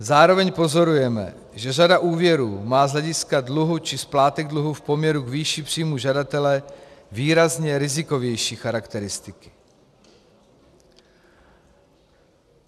Zároveň pozorujeme, že řada úvěrů má z hlediska dluhu či splátek dluhu v poměru k výši příjmů žadatele výrazně rizikovější charakteristiky.